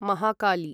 Mahakali